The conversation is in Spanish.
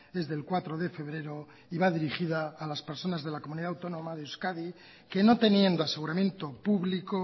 es del cuatro de febrero y va dirigida a las personas de la comunidad autónoma de euskadi que no teniendo aseguramiento público